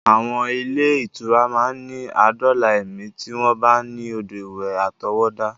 Àwọn ilé-ìtura máa ní adóòlà ẹ̀mí tí wọ́n bá ní odò ìwẹ̀ àtọwọ́dá.